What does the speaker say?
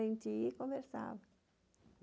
A gente ia e conversava.